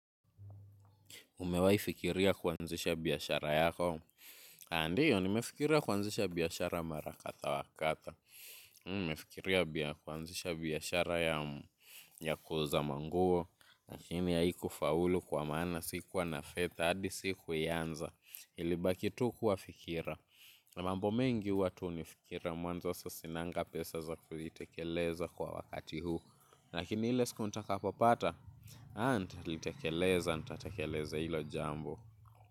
Umewaifikiria kuanzisha biashara yako. A ndiyo, nimefikiria kuanzisha biashara marakadhaa wa kadha. Nimefikiria kuanzisha biashara ya kuuza manguo. Lakini haiku faulu kwa maana sikuwa na fetha, adi si kuianza. Ilibaki tu kuwa fikira. Mambo mengi ua tu ni fikira mwanzo sasinanga pesa za kuitekeleza kwa wakati huu. Lakini ile sku ntakapo pata. Haa, ntalitekeleza, ntatekeleza ilo jambo.